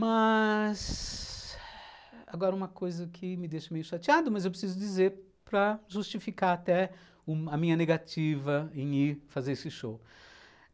Mas agora uma coisa que me deixa meio chateado, mas eu preciso dizer para justificar até a minha negativa em ir fazer esse show.